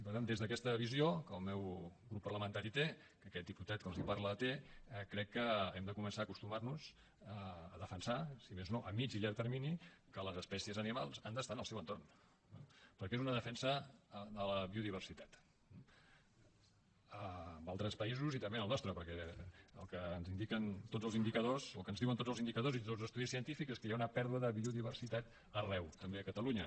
per tant des d’aquesta visió que el meu grup parlamentari té que aquest diputat que els parla té crec que hem de començar a acostumar nos a defensar si més no a mitjà i llarg termini que les espècies animals han d’estar en el seu entorn perquè és una defensa de la biodiversitat en altres països i també en el nostre perquè el que ens diuen tots els indicadors i tots els estudis científics és que hi ha una pèrdua de biodiversitat arreu també a catalunya